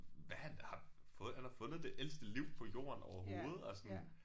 Hvad han har fået han har fundet det ældste liv på jorden overhovedet og sådan